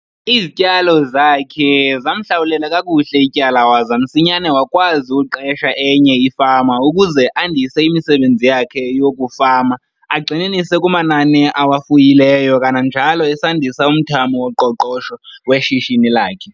Izityalo zakhe zamhlawulela kakuhle ityala waza msinyane wakwazi uqesha enye ifama ukuze andise imisebenzi yakhe yokufama agxininise kumanani awafuyileyo kananjalo esandisa umthamo woqoqosho weshishini lakhe.